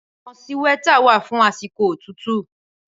Awòn síwètá wà fún àsíkó ótútù